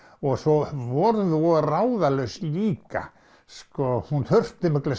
og svo vorum við voða ráðalaus líka sko hún þurfti mikla